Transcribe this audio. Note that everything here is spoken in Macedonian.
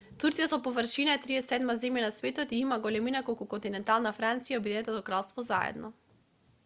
турција по површина е 37-ма земја на светот и има големина колку континентална франција и обединетото кралство заедно